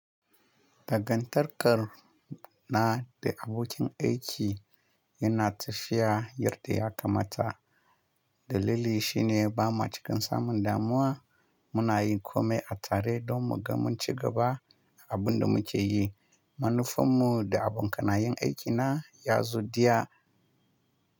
Dagantarkar na da abokin aiki yana tafiya, yarda ya kamata. Dalili shine ba ma cikan samun damuwa, muna yin kome a tare don mu ga munci gaba abin da muke yi. Manufanmu da abokanayan aikina ya zo daya.